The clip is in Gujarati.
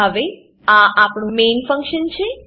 હવે આ આપણું મેઇન મેઈન ફંક્શન છે